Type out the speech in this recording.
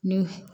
Ni